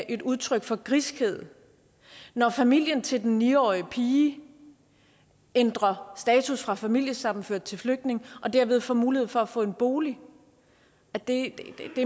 et udtryk for griskhed når familien til den ni årige pige ændrer status fra familiesammenført til flygtning og dermed får mulighed for at få en bolig det